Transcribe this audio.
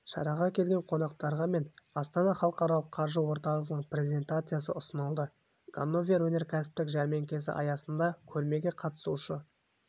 шараға келген қонақтарға мен астана халықаралық қаржы орталығының презентациясы ұсынылды ганновер өнеркәсіптік жәрмеңкесі аясында көрмеге қатысушы